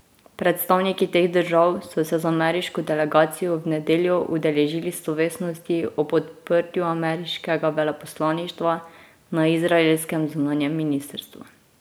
Predstavniki teh držav so se z ameriško delegacijo v nedeljo udeležili slovesnosti ob odprtju ameriškega veleposlaništva na izraelskem zunanjem ministrstvu.